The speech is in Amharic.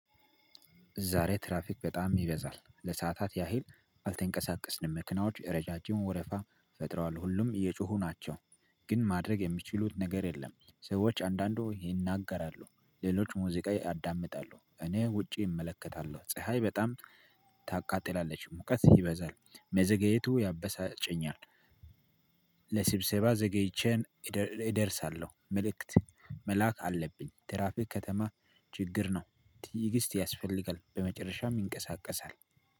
ዛሬ ትራፊክ በጣም ይበዛል ለሰአታት ያህል አልተንቀሳቀስንም መኪናዎች ረጃጅም ወረፋ ፈጥረዋል ሁሉም እየጮሁ ናቸው። ግን ማድረግ የሚችሉት ነገር የለም። ሰዎች አንዳንዱ ይናገራሉ ሌሎች ሙዚቃ ያዳምጣሉ። እኔ ውጪ እመለከታለሁ ፀሀይ በጣም ታቃጥላለች ሙቀጥ ይበዛል። መዘግየቱ ያበሳጨኛል። ለስብሰባ ዘገይቼን እደርሳለው መልእክት መላክ አለብኝ። ትራፊክ ከተማ ችግር ነው። ተእግስት ያስፈልጋል በመጨረሻም ይንቀሳቀሳል።